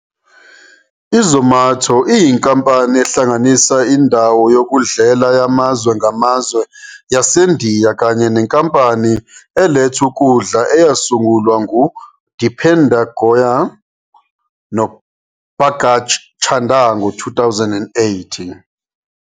I-Zomato iyinkampani ehlanganisa indawo yokudlela yamazwe ngamazwe yaseNdiya kanye nenkampani eletha ukudla eyasungulwa ngu-Deepinder Goyal no-Pankaj Chaddah ngo-2008.